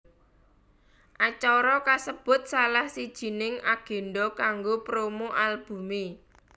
Acara kasebut salah sijining agendha kanggo promo albumé